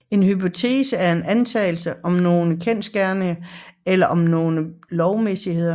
En hypotese er en antagelse om nogle kendsgerninger eller om nogle lovmæssigheder